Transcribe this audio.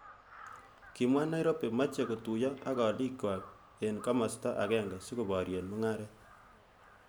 Kimwa Nairobi meche kotuyo ak alik kwaak. eng kimosta akenge sikoborye mungaret.